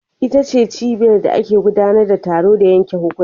Ita ce cibiyar da ake gudanar da taro da yanke hukunci.